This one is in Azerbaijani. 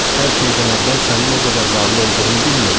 Hər şeydən əvvəl sənin o qədər varlı olduğunu bilmirdim.